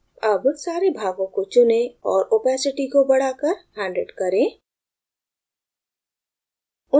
अब सारे भागों को चुनें और opacity को बढ़ाकर 100 करें